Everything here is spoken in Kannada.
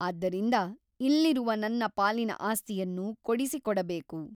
ಆದ್ದರಿಂದ ಇಲ್ಲಿರುವ ನನ್ನ ಪಾಲಿನ ಆಸ್ತಿಯನ್ನು ಕೊಡಿಸಿಕೊಡಬೇಕು.